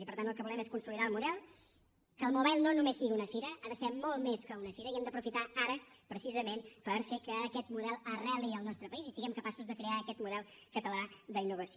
i per tant el que volem és consolidar el model que el mobile no només sigui una fira ha de ser molt més que una fira i hem d’aprofitar ara precisament per fer que aquest model arreli al nostre país i siguem capaços de crear aquest model català d’innovació